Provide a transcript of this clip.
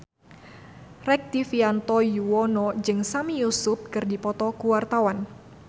Rektivianto Yoewono jeung Sami Yusuf keur dipoto ku wartawan